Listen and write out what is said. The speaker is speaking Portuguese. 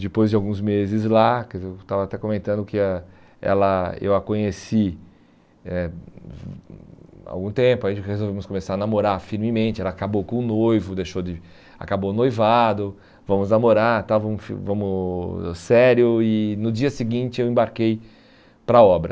Depois de alguns meses lá, quer dizer, eu estava até comentando que ãh ela eu a conheci eh há algum tempo, a gente resolvemos começar a namorar firmemente, ela acabou com o noivo, deixou de acabou noivado, vamos namorar tal, vamos vamos sério e no dia seguinte eu embarquei para a obra.